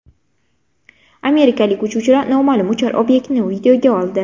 Amerikalik uchuvchilar noma’lum uchar obyektni videoga oldi.